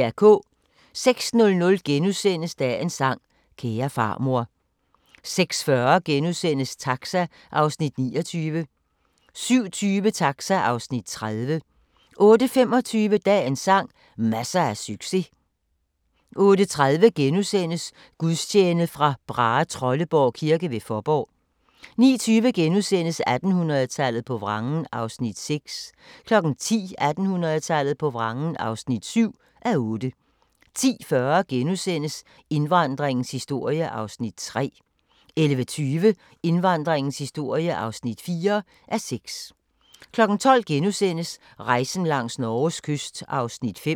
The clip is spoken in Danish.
06:00: Dagens sang: Kære farmor * 06:40: Taxa (Afs. 29)* 07:20: Taxa (Afs. 30) 08:25: Dagens sang: Masser af succes 08:30: Gudstjeneste fra Brahetrolleborg kirke ved Fåborg * 09:20: 1800-tallet på vrangen (6:8)* 10:00: 1800-tallet på vrangen (7:8) 10:40: Indvandringens historie (3:6)* 11:20: Indvandringens historie (4:6) 12:00: Rejsen langs Norges kyst (5:10)*